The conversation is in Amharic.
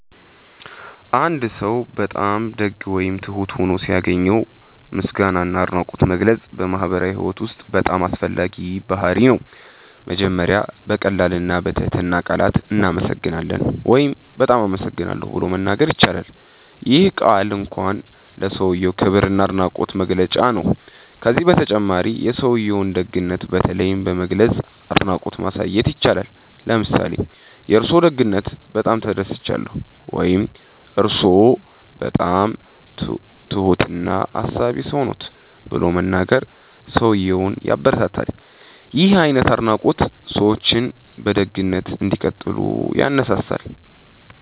አንድ ሰው በጣም ደግ ወይም ትሁት ሆኖ ሲያገኘው ምስጋና እና አድናቆት መግለጽ በማህበራዊ ህይወት ውስጥ በጣም አስፈላጊ ባህርይ ነው። መጀመሪያ በቀላል እና በትህትና ቃላት “እናመሰግናለን” ወይም “በጣም አመሰግናለሁ” ብሎ መናገር ይቻላል። ይህ ቀላል ቃል እንኳን ለሰውዬው ክብር እና አድናቆት መግለጫ ነው። ከዚህ በተጨማሪ የሰውዬውን ደግነት በተለይ በመግለጽ አድናቆት ማሳየት ይቻላል። ለምሳሌ “የእርስዎ ደግነት በጣም ተደስቻለሁ” ወይም “እርስዎ በጣም ትሁት እና አሳቢ ሰው ነዎት” ብሎ መናገር ሰውዬውን ያበረታታል። ይህ አይነት አድናቆት ሰዎች በደግነት እንዲቀጥሉ ያነሳሳል።